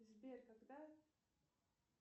сбер когда